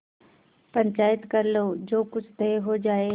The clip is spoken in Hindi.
पंचायत कर लो जो कुछ तय हो जाय